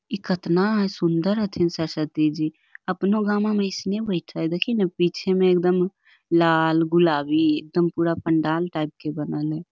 इ कतना हेय सुंदर हथीन सरस्वती जी अपनो गामो में एसने बैठे हेय पीछे में एकदम लाल गुलाबी एकदम पूरा पंडाल टाइप के ।